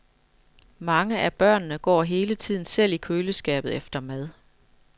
Mange af børnene går hele tiden selv i køleskabet efter mad.